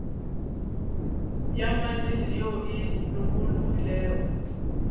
ya maknete ye e lokologilego